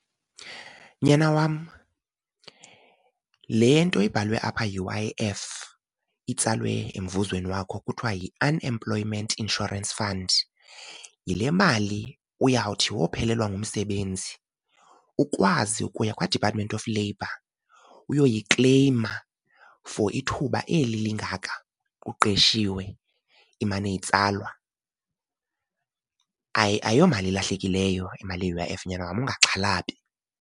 Nyana wam, le nto ibhalwe apha U_I_F itsalwe emvuzweni wakho kuthiwa yi-Unemployment Insurance Fund yile mali uyawuthi wophelelwa ngumsebenzi ukwazi ukuya kwaDepartment of Labour uyoyikleyima for ithuba eli lingaka uqeshiwe imane itsalwa. Ayomali ilahlekileyo imali ye-U_I_F nyana wam ungaxhalabi.